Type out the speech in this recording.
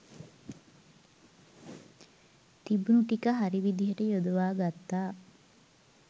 තිබුණු ටික හරි විදිහට යොදවා ගත්තා.